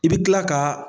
I bɛ kila ka